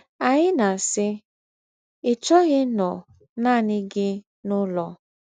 Ányị̀ na-ásị́: ‘Ị́ chọ́ghị̄ ínọ̀ nánị̀ gị n’úlọ̀